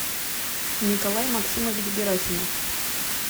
николай максимович герасимов